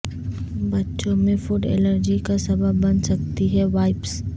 بچوں میں food allergy کا سبب بن سکتی ہے وائپس